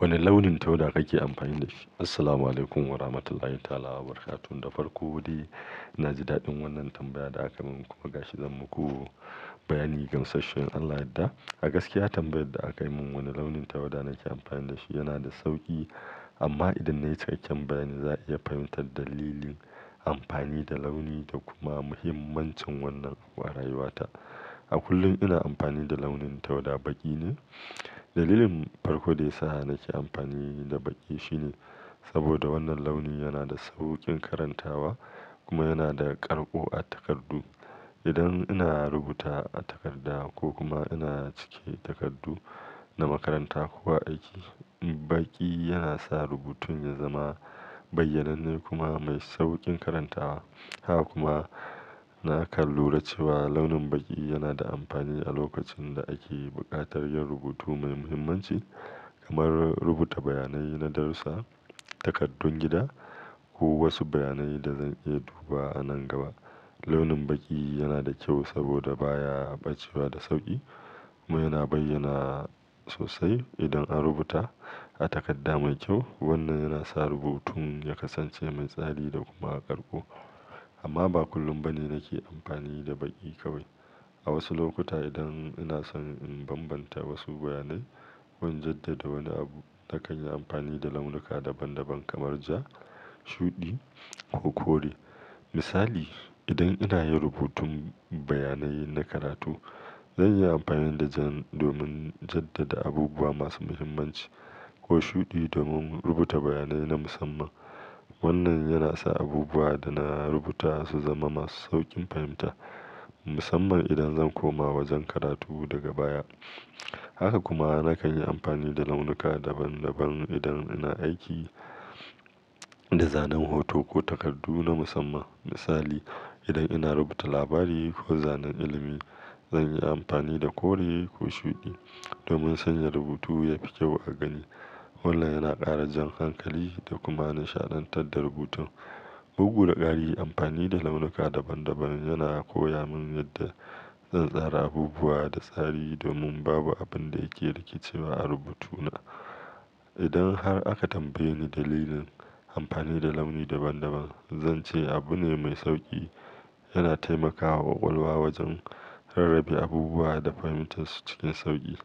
Wane launin tawada kake amfani da shi? Assalamualaikum warahmatullahi ta'ala wabarakatuh. Da farko dai na ji daɗin wannan tambaya da aka min kuma ga shi zan muku bayani gamsashshe. In Allah ya yadda. A gaskiya tambayar da aka yi min, wane launin tawada nake amfani da shi yana da sauƙi. Amma idan na yi cikkaken bayani za a iya fahimtar dalilin amfani da launi da kuma mahimmancin wannan wa rayuwata. A kullum ina amfani da launin tawada baƙi ne. Dalilin farko da yasa nake amfani da baƙi shine saboda wannan launi yana da sauƙin karantawa kuma yana da ƙarƙo a takardu. Idan ina rubuta a takarda ko kuma ina cike takardu na makaranta ko aiki, baƙi yana sa rubutun ya zama bayyananne kuma mai sauƙin karantawa. Haka kuma na kallura cewa launin baƙi yana da amfani a lokacin da ake buƙatar yin rubutu mai muhimmanci kamar rubuta bayanai na darussa, takaddun gida ko wasu bayanai da zan iya duba wa a nan gaba. Launin baƙi yana da kyau saboda baya ɓacewa da sauƙi kuma yana bayyana sosai idan an rubuta a takarda mai kyau. Wannan yana sa rubutun ya kasance mai tsari da kuma ƙarƙo. Amma ba kullum bane nake amfani da baƙi kawai. A wasu lokuta idan ina son in bambanta wasu bayanai ko in jaddada wani abu, na kan yi amfani da launuka daban daban kamar ja, shuɗi ko kore. Misali, idan ina yin rubutun bayanai na karatu, zan iya amfani da jan domin jaddada abubuwa masu muhimmanci ko shuɗi domin rubuta bayanai na musamman. Wannan yana sa abubuwa da na rubuta su zama masu sauƙin fahimta musamman idan zan koma wajen karatu daga baya. Haka kuma na kan yi amfani da launuka daban daban idan ina aiki da zanen hoto ko takardu na musamman. Misali, idan ina rubuta labari ko zanen ilimi, zan yi amfani da kore ko shuɗi domin sanya rubutu yafi kyau a gani. Wannan yana ƙara jan hankali da kuma nishaɗantar da rubutun. Bugu da ƙari amfani da launuka daban daban yana koya mun yadda zan tsara abubuwa da tsari domin babu abin da yake rike cewa a rubutuna. Idan har aka tambaye ni dalilin amfani da launi daban daban, zan ce abu ne mai sauƙi. Yana taimakawa ƙwaƙwalwa wajen rarrabe abubuwa da fahimtar su cikin sauƙi.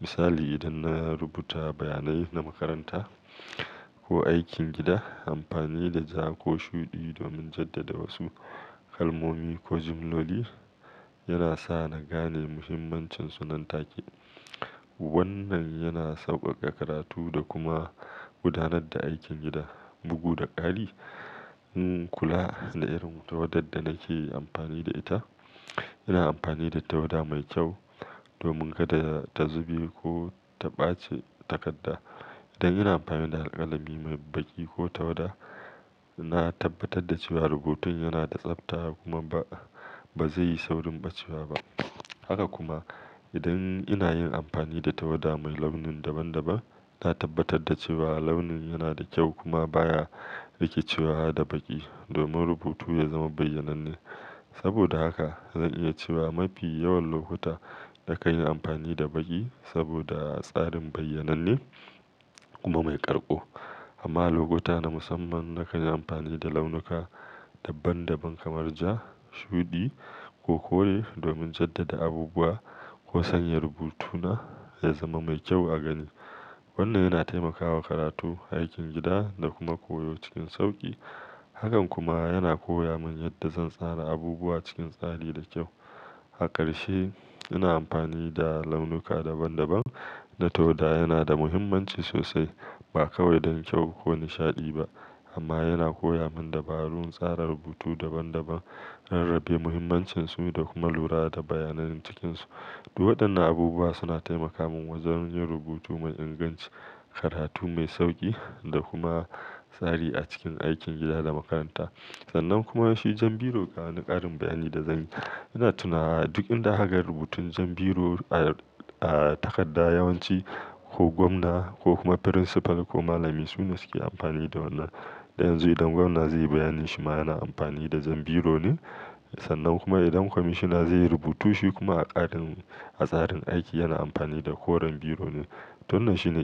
Misali, idan na rubuta bayanai na makaranta ko aikin gida, amfani da ja ko shuɗi domin jaddada wasu kalmomi ko jimloli yana sa na gane muhimmancinsu nan take. Wannan yana sauƙaƙa karatu da kuma gudanar da aikin gida bugu da ƙari. Ina kula da irin tawadar da nake amfani da ita, ina amfani da tawada mai kyau domin kada ta zube ko ta ɓace takarda. Idan ina amfani da alƙalami mai baƙi ko tawada, na tabbatar da cewa rubutun yana da tsafta kuma ba zai yi saurin ɓacewa ba. Haka kuma idan ina yin amfani da tawada mai launin daban daban, ina tabbatar da cewa launin yana da kyau kuma baya riƙicewa da baƙi domin rubutu ya zama bayyananne. Saboda haka zan iya cewa mafi yawan lokuta na kan yi amfani da baƙi saboda tsarin bayyananne kuma mai ƙarƙo. Amma lokuta na musamman na kan yi amfani da launuka daban daban kamar ja, shuɗi ko kore domin jaddada abubuwa ko sanya rubutuna ya zama mai kyau a gani. Wannan yana taimakawa karatu, aikin gida da kuma koyo cikin sauƙi. Hakan kuma yana koya mun yadda zan tsara abubuwa cikin tsari da kyau. A ƙarshe, ina amfani da launuka daban daban da tawada yana da muhimmanci sosai. Ba kawai don kyau ko nishaɗi ba amma yana koya mun dabarun tsara rubutu daban daban, rarrabe muhimmancinsu da kuma lura da bayanan cikinsu. Waɗannan abubuwa suna taimaka mun wajen yin rubutu mai inganci, karatu mai sauƙi da kuma tsari a cikin aikin gida da makaranta. Sannan kuma shi jan biro ga wani karin bayani da zanyi ina tunawa duk inda aka ga rubutun jan biro a a takadda yawanci ko gwamna ko kuma principal ko malami sune suke amfani da wannan dan yanzu idan gwamna zai yi bayanin shima yana amfani da jan biro ne. Sannan kuma idan kwamishina zai yi rubutu shi kuma a tsarin a tsarin aiki yana amfani da koren biro ne. To wannan shine.